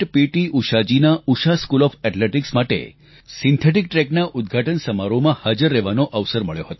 ઊષાજીના Usha school of athletics માટે synthetic ટ્રેકના ઉદઘાટન સમારોહમાં હાજર રહેવાનો અવસર મળ્યો હતો